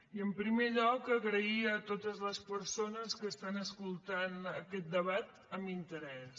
i en primer lloc donar les gràcies a totes les persones que estan escoltant aquest debat amb interès